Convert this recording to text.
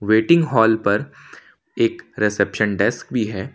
Waiting hall पर एक reception desk भी है।